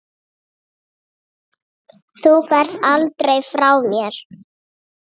Þú ferð aldrei frá mér.